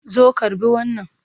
Zo karɓi wannan!